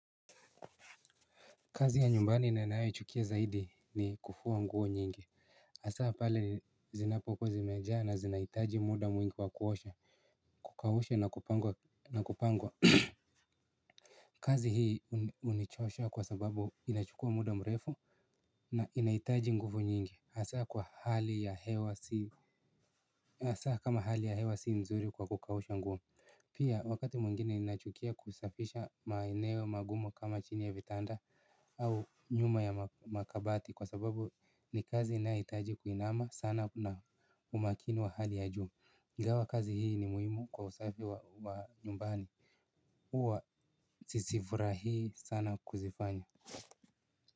Kazi ya nyumbani ninanayochukia zaidi ni kufua nguo nyingi hasa pale zinapokowu zimejaa na zinahitaji muda mwingi wa kuosha. Kukausha na kupangwa kazi hii hunichosha kwa sababu inachukua muda mrefu. Na inahitaji nguvu nyingi hasa kwa hali ya hewa si hasa kama hali ya hewa si nzuri kwa kukausha nguo. Pia wakati mwingine ninachukia kusafisha maeneo magumu kama chini ya vitanda. Au nyuma ya makabati kwa sababu ni kazi inayohitaji kuinama sana na umakini wa hali ya juu ingawa kazi hii ni muhimu kwa usafi wa nyumbani huwa sizifurahii sana kuzifanya.